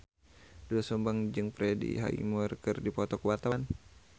Doel Sumbang jeung Freddie Highmore keur dipoto ku wartawan